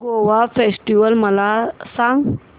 Goa festival मला सांग